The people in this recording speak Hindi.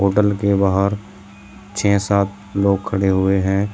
होटल के बाहर छः सात लोग खड़े हुए हैं।